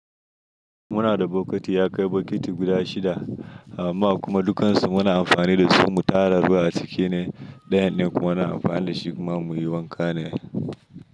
Muna da bukiti, ya kai bukiti guda shida a mma kuma dukansu muna amfani da su mu tara ruwa a ciki ne. Ɗayan ne kuma muna amfani da shi kuma muyi wanka ne.